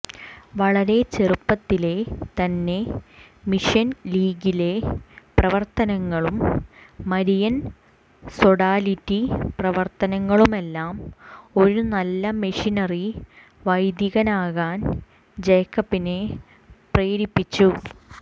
വളരെ ചെറുപ്പത്തിലെ തന്നെ മിഷൻലീഗിലെ പ്രവർത്തനങ്ങളും മരിയൻ സൊഡാലിറ്റി പ്രവർത്തനങ്ങളുമെല്ലാം ഒരു നല്ല മിഷനറി വൈദികനാകാൻ ജേക്കബിനെ പ്രേ രിപ്പിച്ചു